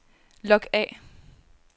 log af